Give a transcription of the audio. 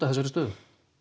þessarar stöðu